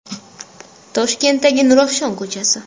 Toshkentdagi Nurafshon ko‘chasi.